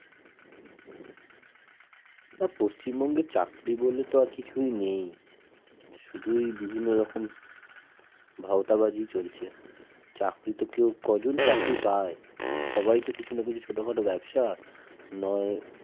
না পশ্চিমবঙ্গে চাকরি বলে তো আর কিছুই নেই, শুধুই বিভিন্ন রকম ভাওতাবাজি চলছে, চাকরি তো কেউ কয়জন চাকরি পায়? সবাই তো কিছু ছোটখাটো ব্যবসা নয়